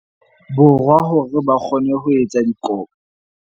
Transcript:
Borwa hore ba kgone ho etsa dikopo.